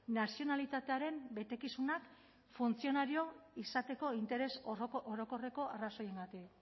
nazionalitatearen betekizunak funtzionario izateko interes orokorreko arrazoiengatik